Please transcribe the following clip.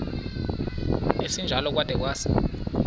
esinjalo kwada kwasa